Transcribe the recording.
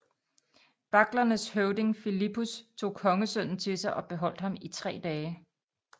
Baglernes høvding Filippus tog kongesønnen til sig og beholdt ham i tre dage